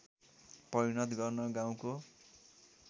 परिणत गर्न गाउँको